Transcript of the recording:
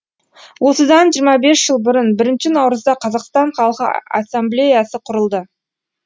осыдан жиырма бес жыл бұрын бірінші наурызда қазақстан халқы ассамблеясы құрылды